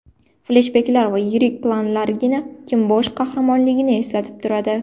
Fleshbeklar va yirik planlargina kim bosh qahramonligini eslatib turadi.